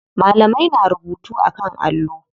Malamai na rubutu a kan allo.